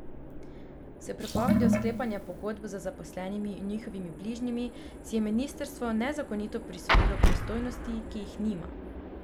S prepovedjo sklepanja pogodb z zaposlenimi in njihovimi bližnjimi si je ministrstvo nezakonito prisvojilo pristojnosti, ki jih nima.